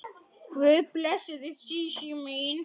Guð blessi þig Sísí mín.